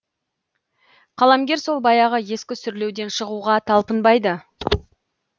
қаламгер сол баяғы ескі сүрлеуден шығуға талпынбайды